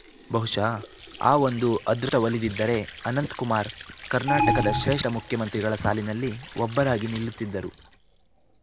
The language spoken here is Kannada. ಬಹುಶಃ ಆ ಒಂದು ಅದೃಷ್ಟಒಲಿದಿದ್ದರೆ ಅನಂತ್ ಕುಮಾರ್‌ ಕರ್ನಾಟಕದ ಶ್ರೇಷ್ಠ ಮುಖ್ಯಮಂತ್ರಿಗಳ ಸಾಲಿನಲ್ಲಿ ಒಬ್ಬರಾಗಿ ನಿಲ್ಲುತ್ತಿದ್ದರು